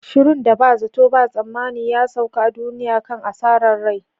shirun da ba zato ba tsammani ya sauka a duniya kan asarar rai.